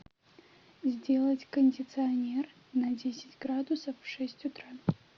сделать кондиционер на десять градусов в шесть утра